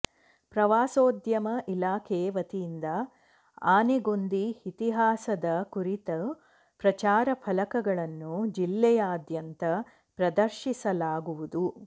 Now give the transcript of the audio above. ಪ್ರವಾಸೋದ್ಯಮ ಇಲಾಖೆ ವತಿಯಿಂದ ಆನೆಗೊಂದಿ ಇತಿಹಾಸದ ಕುರಿತು ಪ್ರಚಾರ ಫಲಕಗಳನ್ನು ಜಿಲ್ಲೆಯಾದ್ಯಂತ ಪ್ರದರ್ಶಿಸಲಾಗುವುದು